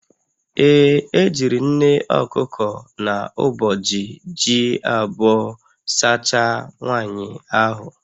Ee, e jiri nne okuko na uboji ji abụọ sachaa nwaanyị ahụ